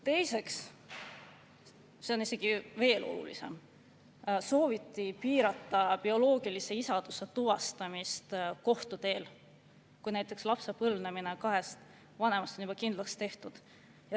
Teiseks – see on isegi veel olulisem –, sooviti piirata bioloogilise isaduse tuvastamist kohtu teel, kui näiteks lapse põlvnemine kahest vanemast on juba kindlaks tehtud.